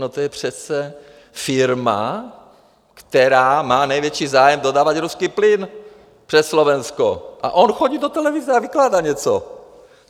No to je přece firma, která má největší zájem dodávat ruský plyn přes Slovensko, a on chodí do televize a vykládá něco.